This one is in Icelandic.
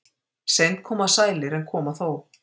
Seint koma sælir en koma þó.